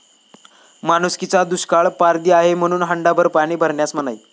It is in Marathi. माणुसकीचा दुष्काळ, पारधी आहे म्हणून हंडाभर पाणी भरण्यास मनाई